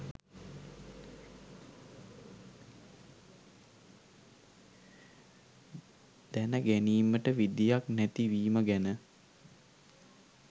දැන ගැනීමට විදියක් නැති වීම ගැන